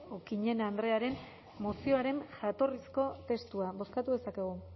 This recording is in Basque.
okiñena andrearen mozioaren jatorrizko testua bozkatu dezakegu